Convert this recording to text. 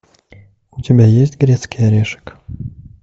у тебя есть грецкий орешек